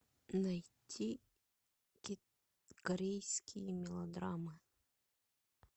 найти корейские мелодрамы